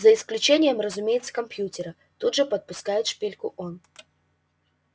за исключением разумеется компьютера тут же подпускает шпильку он